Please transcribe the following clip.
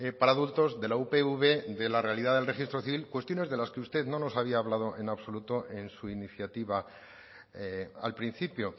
para adultos de la upv de la realidad del registro civil cuestiones de las que usted no nos había hablado en absoluto en su iniciativa al principio